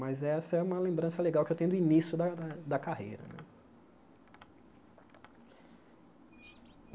Mas essa é uma lembrança legal que eu tenho do início da da da carreira.